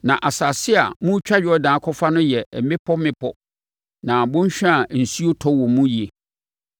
Na asase a moretwa Yordan akɔfa no yɛ mmepɔ mmepɔ ne bɔnhwa a osuo tɔ wɔ hɔ yie